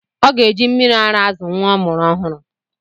Ọ ga-eji mmịrị ara azụ nwa ọ mụrụ ọhụrụ.